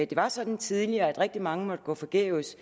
det var sådan tidligere at rigtig mange måtte gå forgæves